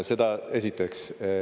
Seda esiteks.